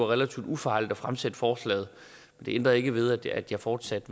relativt ufarligt at fremsætte forslaget det ændrer ikke ved at jeg fortsat